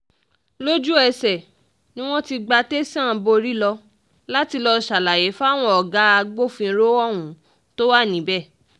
lójú-ẹsẹ̀ ni mo ti gba tẹ̀sán borí lọ láti lọ́ọ́ ṣàlàyé fáwọn ọ̀gá agbófinró ohun tó wà níbẹ̀